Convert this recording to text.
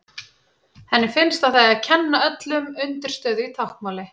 Henni finnst að það eigi að kenna öllum undirstöðu í táknmáli.